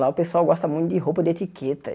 Lá o pessoal gosta muito de roupa de etiqueta.